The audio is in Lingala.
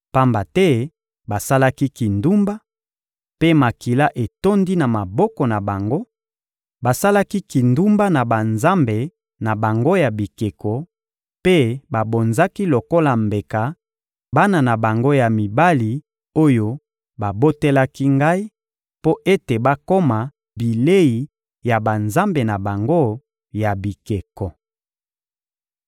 pamba te basalaki kindumba, mpe makila etondi na maboko na bango; basalaki kindumba na banzambe na bango ya bikeko, mpe babonzaki lokola mbeka bana na bango ya mibali oyo babotelaki Ngai, mpo ete bakoma bilei ya banzambe na bango ya bikeko.